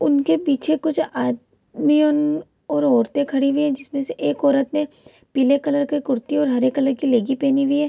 उनके पीछे कुछ आ दमी उम्म और औरते खड़ी हुई है जिसमे से एक औरत ने पीले कलर की कुर्ती और हरे कलर की लेगी पहिनी हुई है।